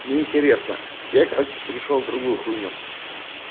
неинтересно я короче перешёл в другую в другую хуйню